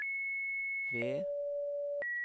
ved